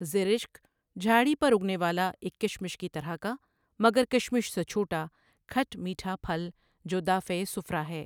زِرِشْک جھاڑی پر اُگنے والا ایک کشمش کی طرح کا مگر کشمش سے چھوٹا کھٹ میٹھا پھل جو دافع صفرا ہے۔